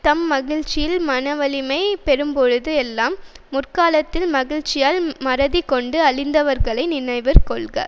தம் மகிழ்ச்சியில் மனவலிமை பெறும்பொழுது எல்லாம் முற்காலத்தில் மகிழ்ச்சியால் மறதி கொண்டு அழிந்தவர்களை நினைவிற் கொள்க